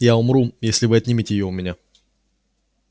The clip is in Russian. я умру если вы отнимете её у меня